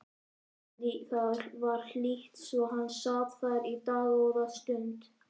Það var hlýtt svo hann sat þar í dágóða stund.